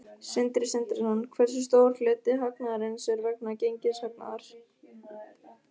Sindri Sindrason: Hversu stór hluti hagnaðarins er vegna gengishagnaðar?